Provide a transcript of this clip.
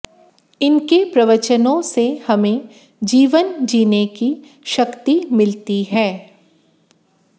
इनके प्रवचनों से हमें जीवन जीने की शक्ति मिलती है